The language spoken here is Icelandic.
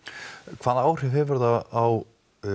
hvaða áhrif hefur það á